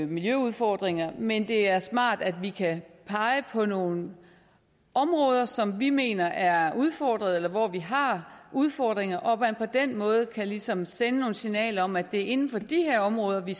miljøudfordringer men det er smart at vi kan pege på nogle områder som vi mener er udfordret eller hvor vi har udfordringer og at man på den måde ligesom kan sende nogle signaler om at det er inden for de områder vi